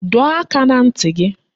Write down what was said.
Dọọ aka na ntị gị